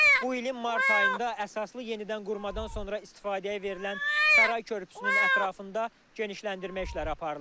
Bu ilin mart ayında əsaslı yenidən qurmadan sonra istifadəyə verilən Saray körpüsünün ətrafında genişləndirmə işləri aparılır.